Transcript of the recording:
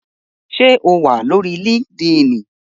Ṣé o wà lórí líkídíìnì?